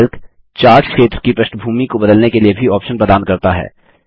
Calc chart क्षेत्र की पृष्ठभूमि को बदलने के लिए भी ऑप्शन प्रदान करता है